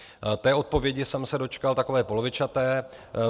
Té odpovědi jsem se dočkal takové polovičaté.